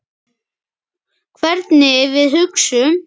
Hvernig við hugsum.